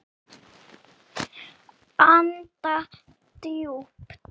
Blessuð sé minning Dúu.